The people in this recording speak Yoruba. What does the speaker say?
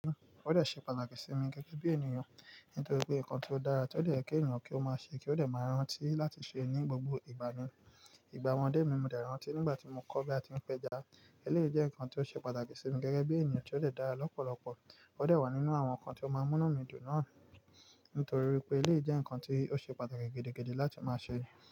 Ó dẹ ṣe pàtàkì sí mi gẹ́gẹ́ bí ènìyàn, nítorí pé ǹkan ti o dára tí ó dẹ yẹ ki ènìyàn kí ó máa ṣe kí ó dẹ máa rántí láti ṣe é ní gbogbo ìgbà ni. Ìgbà ọmọdé mi, mo dẹ̀ rántí nígbà tí mo kọ́ bí a ti ń pẹja. Eléyìí jẹ́ ǹkan tí ó ṣe pàtàkì sí mi gẹ́gẹ́ bí ènìyàn tí ó dẹ dára lọ́pọ̀lọpọ̀. Ó dẹ wà nínú àwọn ǹkan tí ó máa ń múnú mí dùn náà. Nítorí pé eléyìí jẹ́ ǹkan tí ó ṣe pàtàkì gidigidi láti máa ṣe.